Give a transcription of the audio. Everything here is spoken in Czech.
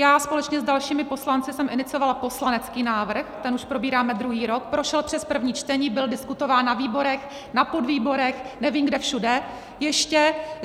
Já společně s dalšími poslanci jsem iniciovala poslanecký návrh, ten už probíráme druhý rok, prošel přes první čtení, byl diskutován na výborech, na podvýborech, nevím, kde všude ještě.